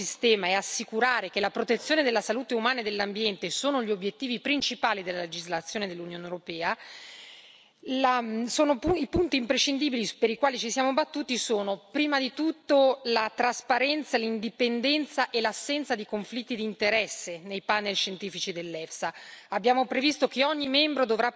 Per assicurare la fiducia dell'intero sistema e assicurare che la protezione della salute umana e dell'ambiente siano gli obiettivi principali della legislazione dell'Unione europea, i punti imprescindibili per i quali ci siamo battuti sono, prima di tutto, la trasparenza, l'indipendenza e l'assenza di conflitti di interesse nei panel scientifici dell'EFSA.